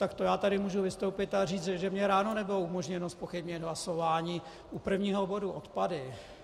Tak to já tady můžu vystoupit a říct, že mně ráno nebylo umožněno zpochybnit hlasování u prvního bodu - odpady.